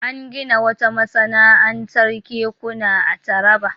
An gina wata masana'antar kekuna a Taraba.